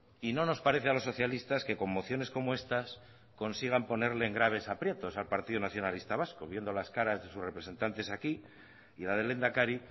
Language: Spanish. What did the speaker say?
y no nos parece a los socialistas que con mociones como estas consigan ponerle en graves aprietos al partido nacionalista vasco viendo las caras de sus representantes aquí y la del lehendakari